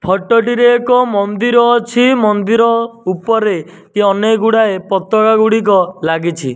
Photo ଟିରେ ଏକ ମନ୍ଦିର ଅଛି ମନ୍ଦିର ଉପରେ ଏ ଅନେକ ଗୁଡାଏ ପତର ଗୁଡିକ ଲାଗିଛି।